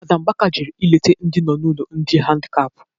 Fada Mbaka jere ileta ndị nọ n'ụlọ ndị dị handikap